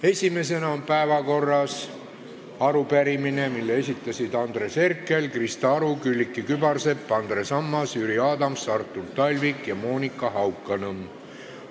Esimesena on päevakorras arupärimine, mille esitasid Andres Herkel, Krista Aru, Külliki Kübarsepp, Andres Ammas, Jüri Adams, Artur Talvik ja Monika Haukanõmm.